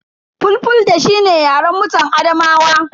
Fulfulde shi ne yaren mutan Adamawa.